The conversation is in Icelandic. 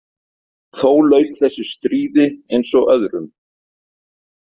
Þó lauk þessu stríði eins og öðrum.